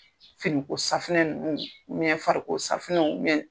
Finiko safunɛ ninnu fariko safinɛw